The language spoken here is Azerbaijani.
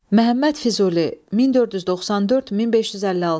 Məhəmməd Füzuli, 1494-1556.